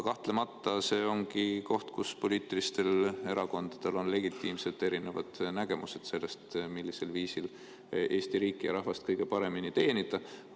Kahtlemata see ongi koht, kus poliitilistel erakondadel on erinevad legitiimsed nägemused sellest, millisel viisil Eesti riiki ja rahvast kõige paremini teenida.